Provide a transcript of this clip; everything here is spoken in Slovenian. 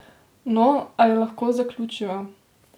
No, ali lahko zaključiva?